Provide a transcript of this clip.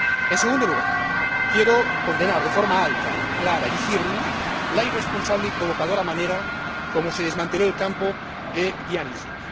En segundo lugar, quiero condenar de forma alta, clara y firme la irresponsable y provocadora manera como se desmanteló el Campo de Gdeim Izi.